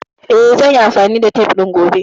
Eh, zan yi amfani da tef ɗin gobe